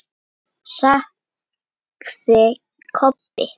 sagði Kobbi.